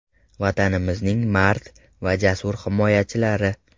Vatanimizning mard va jasur himoyachilari!